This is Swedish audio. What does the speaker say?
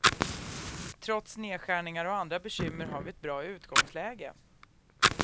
Trots nedskärningar och andra bekymmer har vi ett bra utgångsläge.